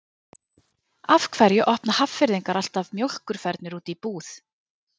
af hverju opna hafnfirðingar alltaf mjólkurfernur úti í búð